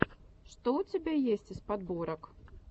что у тебя есть из подборок